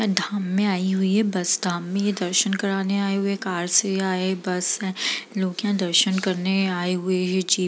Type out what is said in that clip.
धाम में आई हुई है बस धामनी। ये दर्शन कराने आए हुए हैं कार से आए बस से लोग यहां दर्शन करने आए हुए हैं जी --